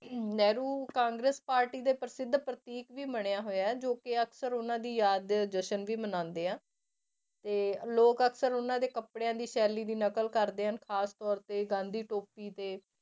Nehru Congress party ਦੇ ਪ੍ਰਸਿੱਧ ਪ੍ਰਤੀਕ ਵੀ ਮੰਨਿਆ ਹੋਇਆ ਜੋ ਕਿ ਅਕਸਰ ਉਹਨਾਂ ਦੀ ਯਾਦ ਦੇ ਜਸ਼ਨ ਵੀ ਮਨਾਉਂਦੇ ਆ, ਤੇ ਲੋਕ ਅਕਸਰ ਉਹਨਾਂ ਦੇ ਕੱਪੜਿਆਂ ਦੀ ਸ਼ੈਲੀ ਦੀ ਨਕਲ ਕਰਦੇ ਹਨ ਖ਼ਾਸ ਤੌਰ ਤੇ ਗਾਂਧੀ ਟੋਪੀ ਤੇ